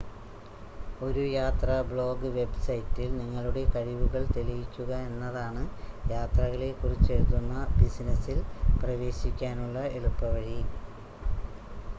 ഒരു യാത്രാ ബ്ലോഗ് വെബ്സൈറ്റിൽ നിങ്ങളുടെ കഴിവുകൾ തെളിയിക്കുക എന്നതാണ് യാത്രകളെ കുറിച്ചെഴുതുന്ന ബിസിനെസ്സിൽ പ്രവേശിക്കാനുള്ള എളുപ്പവഴി